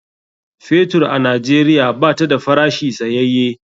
Fetur a Najeriya bata da farashi tsayaye.